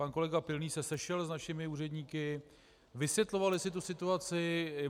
Pan kolega Pilný se sešel s našimi úředníky, vysvětlovali si tu situaci.